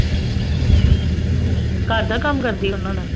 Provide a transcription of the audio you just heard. ਅਸ਼ਾ ਘਰ ਦਾ ਕੰਮ ਕਰਦੀ ਹੈ ਓਹਨਾ ਦਾ